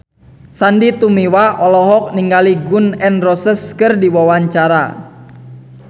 Sandy Tumiwa olohok ningali Gun N Roses keur diwawancara